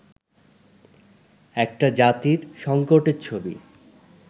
একটা জাতির সংকটের ছবি